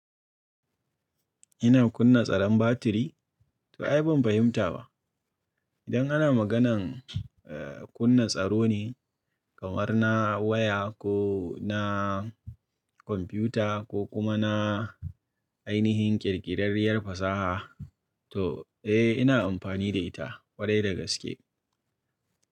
Ina kunna tsaron batiri? To ai ban fahimta ba. Idan ana maganar, eh kunna tsaro ne kamar na waya ko na kwamfiyuta ko kuma na ainihin ƙirƙirarriyar fasaha, to eh ina amfani da ita ƙwarai da gaske.